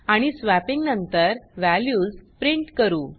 आणि स्वॅपिंग नंतर values print करू